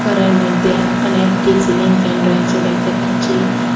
গরের মইদ্যে অনেকটি চিলিং ফ্যান রয়েছে দেখতে পাচ্চি।